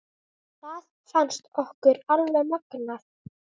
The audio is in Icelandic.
Það fannst okkur alveg magnað.